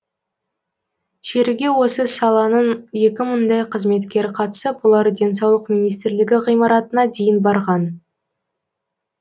шеруге осы саланың екі мыңдай қызметкері қатысып олар денсаулық министрлігі ғимаратына дейін барған